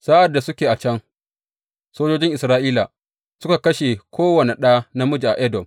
Sa’ad da suke a can, sojojin Isra’ila suka kashe kowane ɗa namiji a Edom.